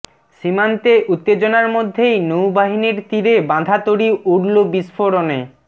সীমান্তে উত্তেজনার মধ্যেই নৌবাহিনীর তীরে বাঁধা তরী উড়ল বিস্ফোরণে